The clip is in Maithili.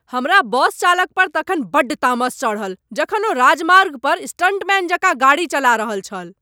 हमरा बस चालक पर तखन बड्ड तामस चढ़ल जखन ओ राजमार्ग पर स्टंटमैन जकाँ गाड़ी चला रहल छल।